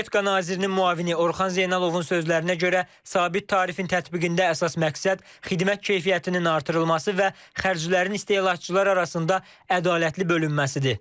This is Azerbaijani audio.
Energetika nazirinin müavini Orxan Zeynalovun sözlərinə görə, sabit tarifin tətbiqində əsas məqsəd xidmət keyfiyyətinin artırılması və xərclərin istehlakçılar arasında ədalətli bölünməsidir.